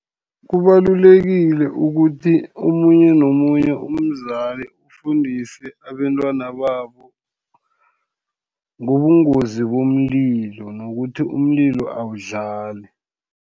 Kubalulekile ukuthi omunye nomunye umzali, ufundise abentwana babo ngobungozi bomlilo, nokuthi umlilo awudlali.